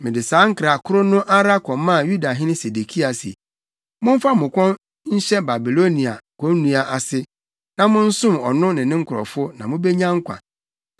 Mede saa nkra koro no ara kɔmaa Yudahene Sedekia se, “Momfa mo kɔn nhyɛ Babiloniahene konnua ase na monsom ɔno ne ne nkurɔfo na mubenya nkwa.